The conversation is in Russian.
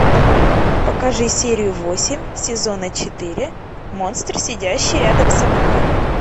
покажи серию восемь сезона четыре монстр сидящий рядом со мной